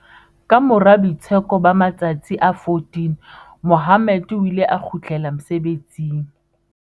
Kamora boitsheko ba ma-tsatsi a 14, Mohammed o ile a kgutlela mosebetsing.